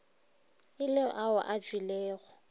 e le ao a tšwilego